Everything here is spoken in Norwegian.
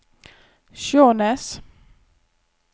Skjånes